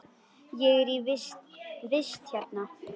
Ég er í vist hérna.